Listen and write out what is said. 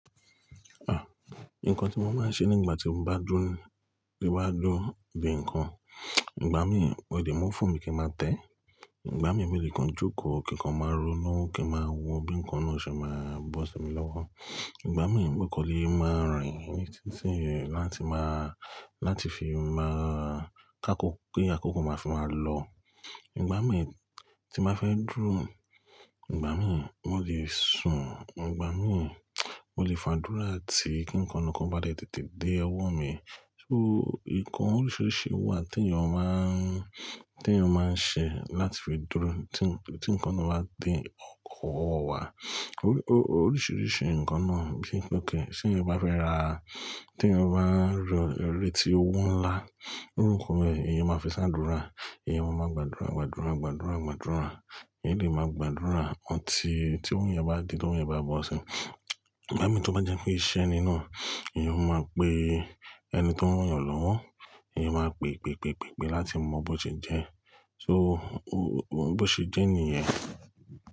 Ah! Nǹkan tí mo máa ń ṣe nígbà tí mo bá dúró, tí bá dúró di ǹkan, ìgbà mí wọlé, mú fóònù mi kí n máa tẹ́, ìgbà mí mìíràn joko kí ǹkan máa ronú kí a máa wọ bí ǹkan náà ṣe máa bọ́ sí mi lọ́wọ́. Ìgbà mí ń gbé kọ́lé máa rìn ní títí láti máa, láti fi máa káko pé àkókò máa fi máa lọ. Ìgbà mí tí màá fẹ́ dúró, ìgbà mí wọ́n lè sùn, ìgbà mí wọ́n lè fàdúrà tí kí ǹkan kan bá dé tètè dé ọwọ́ mi. So ìkàn oríṣiríṣi wà tí èèyàn máa ń, tí èèyàn máa ń ṣe láti fi dúró tí ǹkan náà bá dé ọkọ̀ wa. Oríṣiríṣi ǹkan náà bí i ók, ṣe ì bá fẹ́ rà á, tí èèyàn bá rí eré tí ó wù ńlá, ní òrùkọ rẹ̀ èèyàn máa fẹ́ sádúrà, èèyàn máa mọ̀ gbàdúrà, gbàdúrà, gbàdúrà, gbàdúrà. Èèyàn lè máa gbàdúrà ọ́ tí ohun ìyẹn bá di, tí ohun ìyẹn bá bọ́ sí i. Ìgbà mí tí ó bá jẹ́ pé iṣẹ́ ni náà èèyàn máa pe ẹni tó mọ̀ èèyàn lọ́wọ́, èèyàn máa pè, pè, pè, pè, pè láti mọ bó ti jẹ́. So bó sé jẹ́ ní ẹ̀.